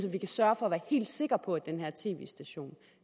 at vi kan sørge for at være helt sikre på at den her tv station